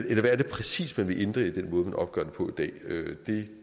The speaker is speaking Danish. er det præcis man vil ændre i den måde man opgør det på i dag det